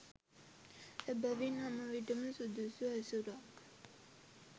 එබැවින් හැම විටම සුදුසු ඇසුරක්